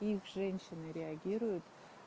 их женщины реагируют